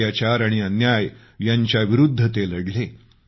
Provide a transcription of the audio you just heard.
अत्याचार आणि अन्याय यांच्याविरूद्ध ते लढले